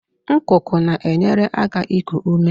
Ngụgụ na-enyere aka iku ume